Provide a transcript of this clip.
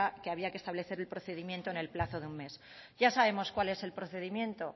que había que establecer el procedimiento en el plazo de un mes ya sabemos cuál es el procedimiento